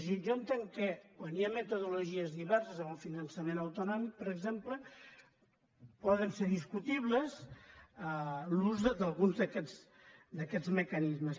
jo entenc que quan hi ha metodologies diverses en el finançament autonòmic per exemple pot ser discutible l’ús d’alguns d’aquests mecanismes